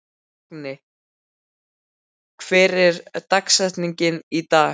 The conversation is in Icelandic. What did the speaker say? Agni, hver er dagsetningin í dag?